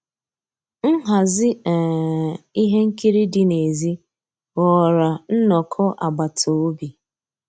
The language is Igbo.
Nhàzí um íhé nkírí dị́ n'èzí ghọ́ọ́rà nnọ́kọ́ àgbàtà òbí.